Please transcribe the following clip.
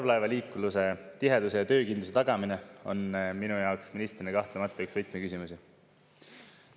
" Parvlaevaliikluse tiheduse ja töökindluse tagamine on minu jaoks ministrina kahtlemata üks võtmeküsimusi.